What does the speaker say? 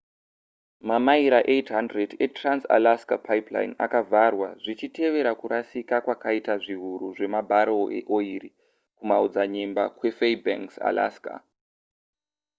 mamaira 800 etrans-alaska pipeline akavharwa zvichitevera kurasika kwakaita zviiuru zvemabarrel eoiri kumaodzanyemba kwefaibanks alaska